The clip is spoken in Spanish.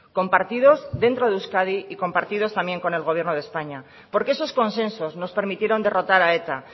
compartidos dentro de euskadi y compartidos también con el gobierno de españa porque esos consensos nos permitieron derrotar a eta